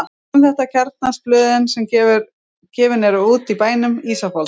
Um þetta kjarnast blöðin sem gefin eru út í bænum: Ísafold